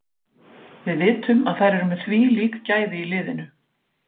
Við vitum að þær eru með þvílík gæði í liðinu.